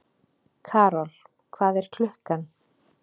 Karol, hvað er klukkan?